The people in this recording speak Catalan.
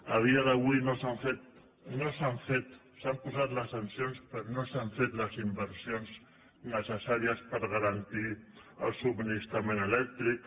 a dia d’avui no s’han fet s’han posat les sancions però no s’han fet les inversions necessàries per garantir el subministrament elèctric